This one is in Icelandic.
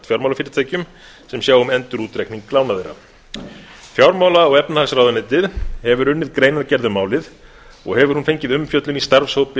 fjármálafyrirtækjum sem sjá um endurútreikning lána þeirra fjármála og efnahagsráðuneytið hefur unnið greinargerð um málið og hefur hún fengið umfjöllun í starfshópi